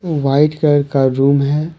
White colour का room है।